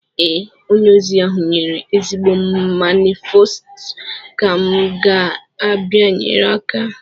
Ee, onye ahụ nyere ezigbo manifesto ka m ga-abịanyere aka